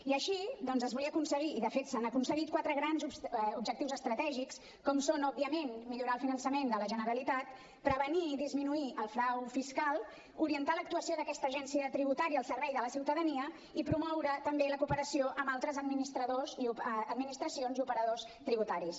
i així doncs es volia aconseguir i de fet s’han aconseguit quatre grans objectius estratègics com són òbviament millorar el finançament de la generalitat prevenir i disminuir el frau fiscal orientar l’actuació d’aquesta agència tributària al servei de la ciutadania i promoure també la cooperació amb altres administracions i operadors tributaris